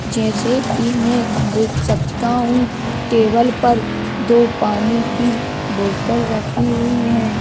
जैसे कि मैं देख सकता हूं टेबल पर दो पानी की बोतल रखी हुई है।